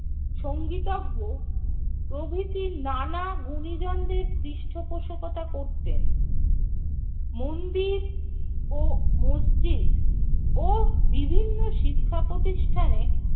সঙ্গীতজ্ঞ প্রভৃতি নানা গুনীজনদের পৃষ্ঠপোষকতা করতেন। মন্দির ও মসজিদ ও বিভিন্ন শিক্ষাপ্রতিষ্ঠানে